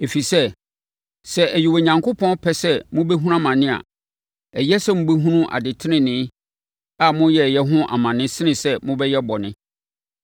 Ɛfiri sɛ, sɛ ɛyɛ Onyankopɔn pɛ sɛ mobɛhunu amane a, ɛyɛ sɛ mobɛhunu ade tenenee a moyɛeɛ ho amane sene sɛ mobɛyɛ bɔne.